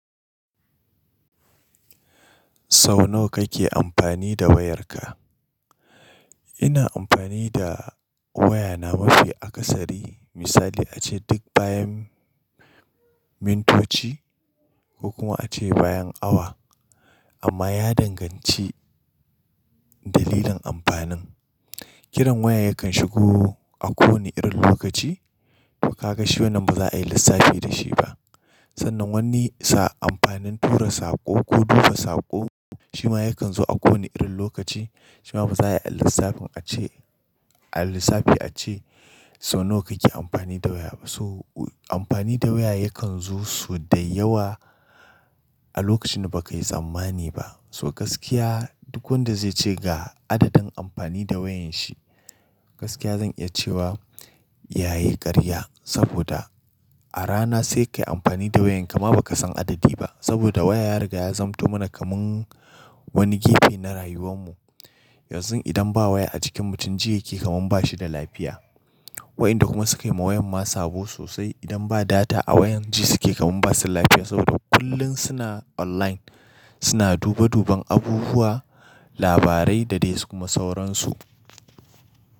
Sau nawa kake amfani da wayarka? Ina amfani da wayana mafi akasari. Misali ace duk bayan mintoci ko kuma ace bayan awa. Amma ya danganci dalilan amfanin. Kiran waya yakan shigo a ko wane irin lokaci. To ka ga shi wannan ba za a yi lissafi da shi ba. Sannan wani sa amfanin tura sako ko duba sako shima yakan zo a ko wane irin lokaci shima ba za a yi lissafin ace, a lissafi ace sau nawa kake amfani da waya ba. So amfani da waya yakan zo sau da yawa a lokacin ba ka yi tsammani ba. So gaskiya duk wanda zai ce ga adadin amfani da wayanshi, gaskiya zan iya cewa yayi ƙarya. Saboda a rana sai kayi amfani da wayan ka ma baka san adadi ba. Saboda waya ya riga ya zamto mana kamar wani gefe na rayuwan mu. Yanzu idan ba waya a cikin mutum, ji yake kamar bashi da lafiya. Waɗanda kuma sukayi ma wayan masu sabo sosai idan ba data a wayan ji suke kamar basu da lafiya. Saboda kullum suna online, suna duba duban abubuwa, labarai da dai su kuma sauransu.